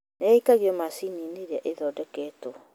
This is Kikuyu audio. Nĩaikagio maciniinĩ ĩrĩa ĩthondeketwo